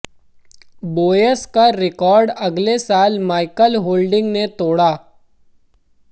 boys का record अगले साल माइकल होल्डिंग ने तोड़ा